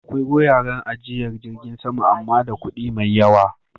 Akwai wuraren ajiyar jiragen sama amma da kuɗi mai yawa